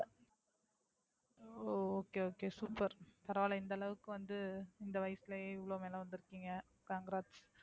ஓ okay, okay super பரவாயில்ல இந்த அளவுக்கு வந்து இந்த வயசுலயே இவ்ளோ நல்லா வந்துருக்கீங்க congrats